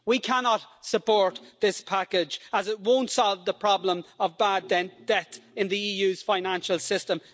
We cannot support this package as it won't solve the problem of bad debt in the EU's financial system.